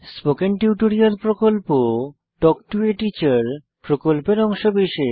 spoken tutorial প্রকল্প talk to a teacher প্রকল্পের অংশবিশেষ